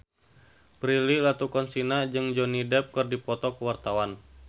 Prilly Latuconsina jeung Johnny Depp keur dipoto ku wartawan